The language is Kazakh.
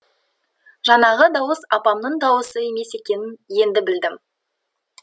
жаңағы дауыс апамның дауысы емес екенін енді білдім